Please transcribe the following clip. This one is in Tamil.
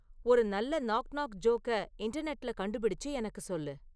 ஒரு நல்ல நாக் நாக் ஜோக்க இன்டர்நெட்டுல கண்டுபிடிச்சு எனக்கு சொல்லு